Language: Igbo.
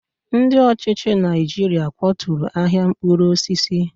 Ndị ọchịchị Naijiria kwaturu ahịa mkpụrụ osisi.